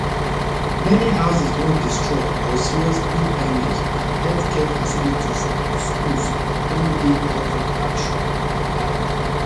many houses don destroy or seriously damage and healthcare facilities and schools don dey out of action e add